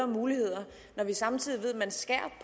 muligheder når vi samtidig ved at man skærer